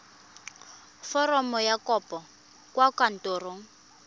foromo ya kopo kwa kantorong